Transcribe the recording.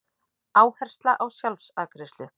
Áhersla á sjálfsafgreiðslu